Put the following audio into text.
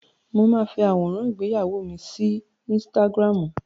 Mo máa fi àwọ̀nrán ìgbéyàwó mi sí ínsítágírámù.